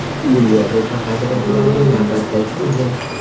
Bu Yevropa qadriyatlariga navbatdagi hujum.